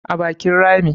a bakin Rami